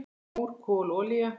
Mór, kol, olía